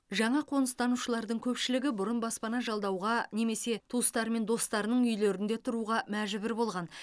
жаңа қоныстанушылардың көпшілігі бұрын баспана жалдауға немесе туыстары мен достарының үйлерінде тұруға мәжбүр болған